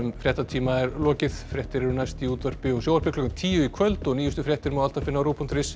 fréttatíma er lokið fréttir eru næst í útvarpi og sjónvarpi klukkan tíu í kvöld og nýjustu fréttir má alltaf finna á rúv punktur is